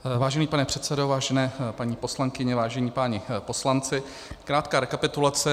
Vážený pane předsedo, vážené paní poslankyně, vážení páni poslanci, krátká rekapitulace.